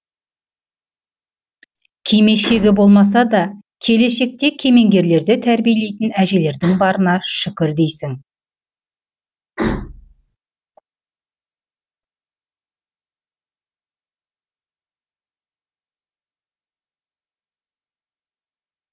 кимешегі болмаса да келешекте кемеңгерлерді тәрбиелейтін әжелердің барына шүкір дейсің